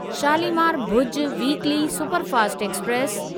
Shalimar Bhuj weekly superfast express